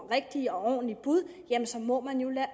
rigtige og ordentlige bud må man jo lade